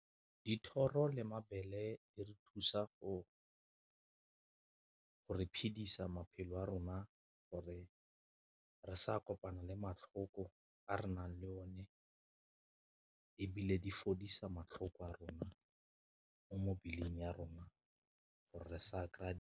Dithoro le mabele di re thusa go re phedisa maphelo a rona gore re sa kopana le matlhoko a re nang le o ne, ebile di fodisa matlhoko a rona mo mebeleng ya rona gore re sa kry-a.